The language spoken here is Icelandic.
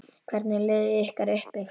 Hvernig er liðið ykkar uppbyggt?